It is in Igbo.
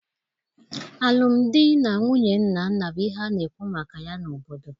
Alụmdi na nwunye Nnanna bụ ihe a na-ekwu maka ya n’obodo